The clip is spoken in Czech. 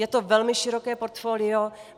Je to velmi široké portfolio.